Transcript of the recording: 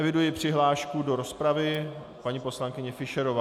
Eviduji přihlášku do rozpravy - paní poslankyně Fischerová.